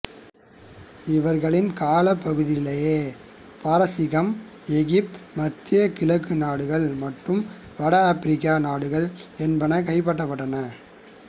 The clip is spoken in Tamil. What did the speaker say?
இவர்களின் காலப்பகுதியிலேயே பாரசீகம் எகிப்து மத்திய கிழக்கு நாடுகள் மற்றும் வட ஆபிரிக்க நாடுகள் என்பன கைப்பற்றப்பட்டன